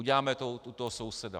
Uděláme to u toho souseda.